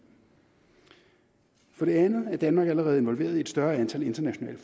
for det andet er danmark allerede involveret i et større antal internationale